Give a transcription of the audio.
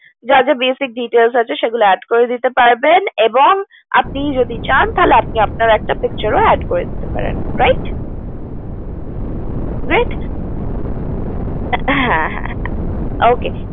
যা যা basic details আছে সেগুলো add করতে পারবেন এবং আপনি যদি চান তাহলে আপনার picture ও add করে দিতে পারেন রাইট হ্যা হ্যা okay